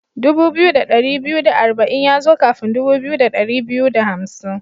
Dubu biyu da dari biyu da arba'in ya zo kafin dubu biyu da dari biyu da hamsin.